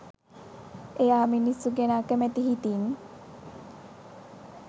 එයා මිනිස්සු ගැන අකැමැති හිතින්